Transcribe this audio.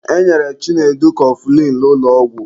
E nyere Chinedu kọfụlịn n'ụlọ ọgwụ.